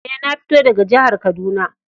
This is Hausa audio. Eh, na fito daga jihar Kaduna.